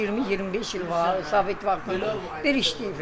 20-25 il var Sovet vaxtı bir işləyiblər.